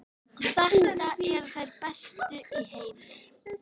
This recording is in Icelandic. Þetta eru þær bestu í heimi!